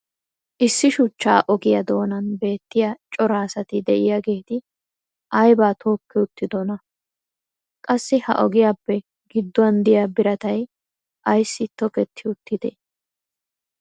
issi shuchcha ogiyaa doonan beettiya cora asati diyaageeti aybaa tookki uttidonaa? qassi ha ogiyaappe gidduwan diya birattay ayssi tokketti uttidee?